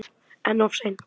En of seint?